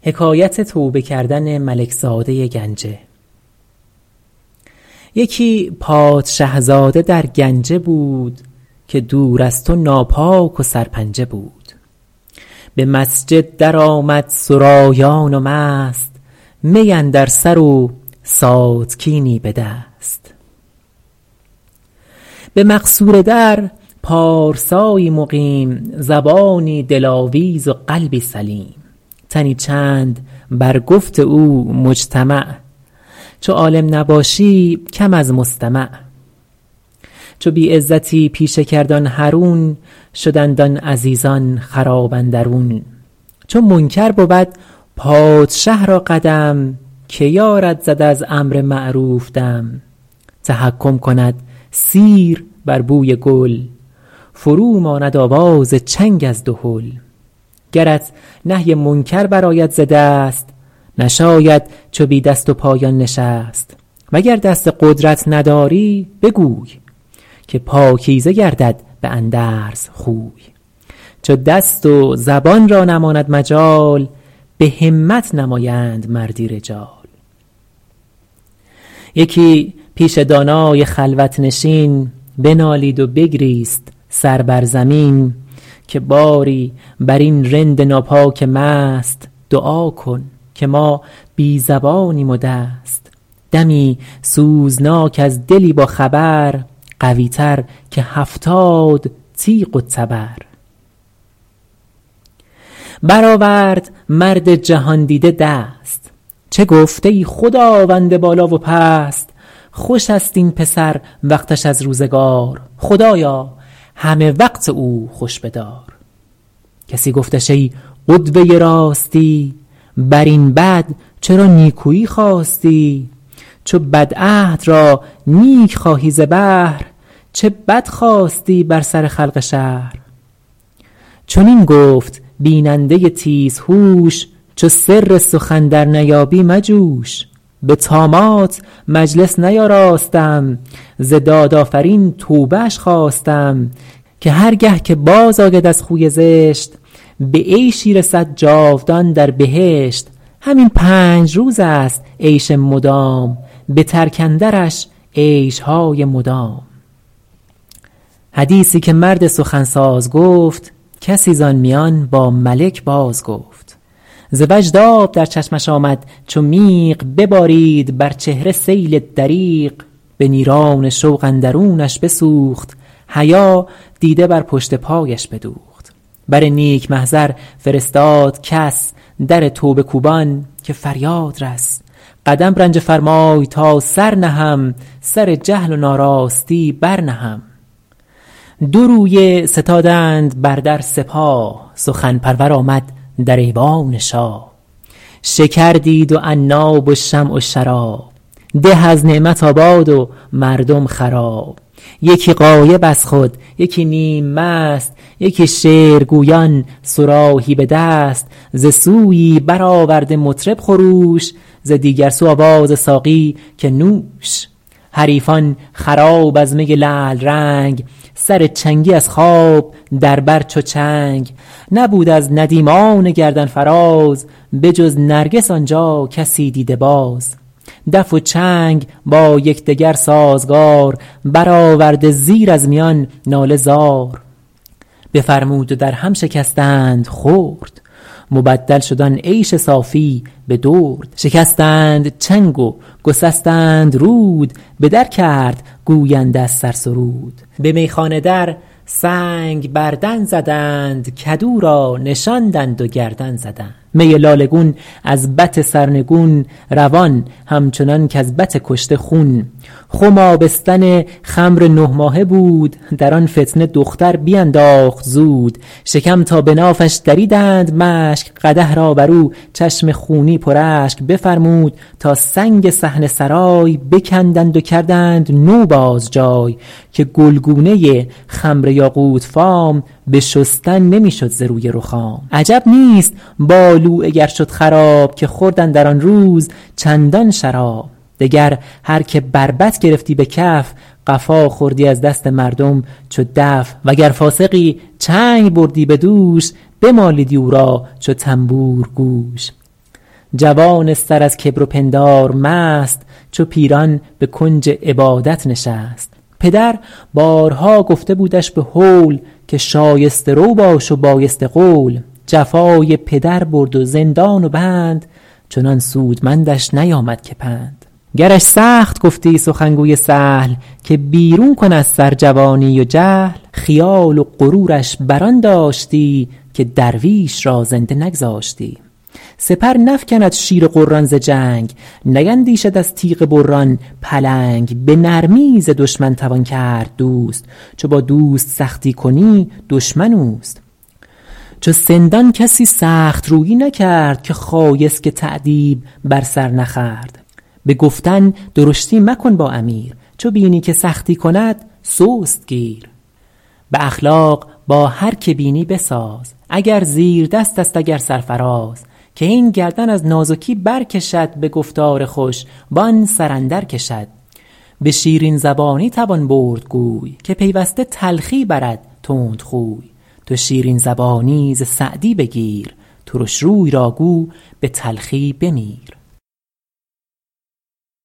یکی پادشه زاده در گنجه بود که دور از تو ناپاک و سرپنجه بود به مسجد در آمد سرایان و مست می اندر سر و ساتکینی به دست به مقصوره در پارسایی مقیم زبانی دلاویز و قلبی سلیم تنی چند بر گفت او مجتمع چو عالم نباشی کم از مستمع چو بی عزتی پیشه کرد آن حرون شدند آن عزیزان خراب اندرون چو منکر بود پادشه را قدم که یارد زد از امر معروف دم تحکم کند سیر بر بوی گل فرو ماند آواز چنگ از دهل گرت نهی منکر بر آید ز دست نشاید چو بی دست و پایان نشست وگر دست قدرت نداری بگوی که پاکیزه گردد به اندرز خوی چو دست و زبان را نماند مجال به همت نمایند مردی رجال یکی پیش دانای خلوت نشین بنالید و بگریست سر بر زمین که باری بر این رند ناپاک و مست دعا کن که ما بی زبانیم و دست دمی سوزناک از دلی با خبر قوی تر که هفتاد تیغ و تبر بر آورد مرد جهاندیده دست چه گفت ای خداوند بالا و پست خوش است این پسر وقتش از روزگار خدایا همه وقت او خوش بدار کسی گفتش ای قدوه راستی بر این بد چرا نیکویی خواستی چو بد عهد را نیک خواهی ز بهر چه بد خواستی بر سر خلق شهر چنین گفت بیننده تیز هوش چو سر سخن در نیابی مجوش به طامات مجلس نیاراستم ز داد آفرین توبه اش خواستم که هر گه که باز آید از خوی زشت به عیشی رسد جاودان در بهشت همین پنج روز است عیش مدام به ترک اندرش عیشهای مدام حدیثی که مرد سخن ساز گفت کسی ز آن میان با ملک باز گفت ز وجد آب در چشمش آمد چو میغ ببارید بر چهره سیل دریغ به نیران شوق اندرونش بسوخت حیا دیده بر پشت پایش بدوخت بر نیک محضر فرستاد کس در توبه کوبان که فریاد رس قدم رنجه فرمای تا سر نهم سر جهل و ناراستی بر نهم دو رویه ستادند بر در سپاه سخن پرور آمد در ایوان شاه شکر دید و عناب و شمع و شراب ده از نعمت آباد و مردم خراب یکی غایب از خود یکی نیم مست یکی شعر گویان صراحی به دست ز سویی بر آورده مطرب خروش ز دیگر سو آواز ساقی که نوش حریفان خراب از می لعل رنگ سر چنگی از خواب در بر چو چنگ نبود از ندیمان گردن فراز به جز نرگس آن جا کسی دیده باز دف و چنگ با یکدگر سازگار بر آورده زیر از میان ناله زار بفرمود و در هم شکستند خرد مبدل شد آن عیش صافی به درد شکستند چنگ و گسستند رود به در کرد گوینده از سر سرود به میخانه در سنگ بر دن زدند کدو را نشاندند و گردن زدند می لاله گون از بط سرنگون روان همچنان کز بط کشته خون خم آبستن خمر نه ماهه بود در آن فتنه دختر بینداخت زود شکم تا به نافش دریدند مشک قدح را بر او چشم خونی پر اشک بفرمود تا سنگ صحن سرای بکندند و کردند نو باز جای که گلگونه خمر یاقوت فام به شستن نمی شد ز روی رخام عجب نیست بالوعه گر شد خراب که خورد اندر آن روز چندان شراب دگر هر که بربط گرفتی به کف قفا خوردی از دست مردم چو دف وگر فاسقی چنگ بردی به دوش بمالیدی او را چو طنبور گوش جوان سر از کبر و پندار مست چو پیران به کنج عبادت نشست پدر بارها گفته بودش به هول که شایسته رو باش و پاکیزه قول جفای پدر برد و زندان و بند چنان سودمندش نیامد که پند گرش سخت گفتی سخنگوی سهل که بیرون کن از سر جوانی و جهل خیال و غرورش بر آن داشتی که درویش را زنده نگذاشتی سپر نفکند شیر غران ز جنگ نیندیشد از تیغ بران پلنگ به نرمی ز دشمن توان کرد دوست چو با دوست سختی کنی دشمن اوست چو سندان کسی سخت رویی نکرد که خایسک تأدیب بر سر نخورد به گفتن درشتی مکن با امیر چو بینی که سختی کند سست گیر به اخلاق با هر که بینی بساز اگر زیردست است اگر سرفراز که این گردن از نازکی بر کشد به گفتار خوش و آن سر اندر کشد به شیرین زبانی توان برد گوی که پیوسته تلخی برد تندخوی تو شیرین زبانی ز سعدی بگیر ترش روی را گو به تلخی بمیر